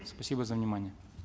спасибо за внимание